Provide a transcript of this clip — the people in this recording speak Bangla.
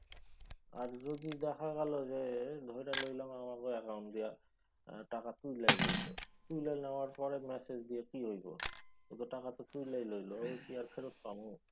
আর যদি দেখা গেলো যে ধইরা লইলাম আমাগো অ্যাকাউন্ট দিয়া টাকা তুইলাই লইল তুইলা নেওয়ার পরে ম্যাসেজ দিয়া কি হইব। এ তো টাকা তো তুইলাই লইল। এ কি আর ফেরত পামু?